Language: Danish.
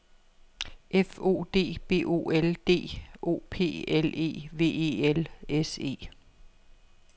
F O D B O L D O P L E V E L S E